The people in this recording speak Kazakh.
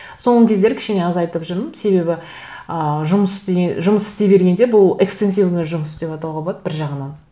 соңғы кездері кішкене азатып жүрмін себебі ыыы жұмыс жұмыс істей бергенде бұл экстенсивный жұмыс деп атауға болады бір жағынан